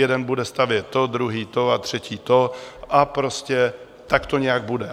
Jeden bude stavět to, druhý to a třetí to a prostě tak to nějak bude.